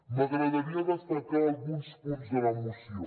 m’agradaria destacar alguns punts de la moció